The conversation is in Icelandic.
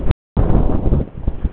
Hann gæti falið sig í garðinum.